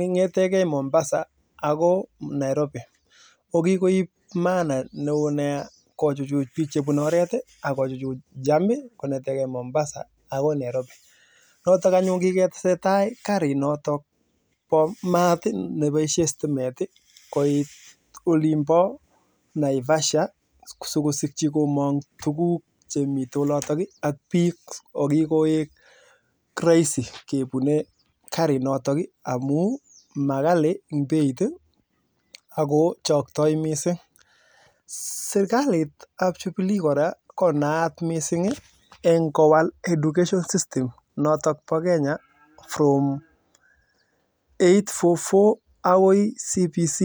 Nairobi ak mombasa akikoit naivasha amuu maghali beiit ako koraa kiwal(education system) neboo kenya konetee 8-4-4 akoi CBC